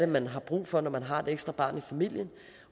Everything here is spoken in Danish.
man har brug for når man har et ekstra barn i familien